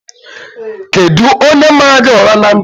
Kedụ onye mara gị ụra na ntị?